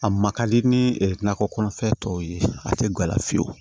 A ma kadi ni nakɔ kɔnɔfɛn tɔw ye a tɛ gala fiyewu